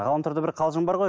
ғаламторда бір қалжың бар ғой